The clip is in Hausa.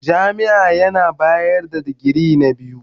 Jami'ar bayar da digiri na biyu.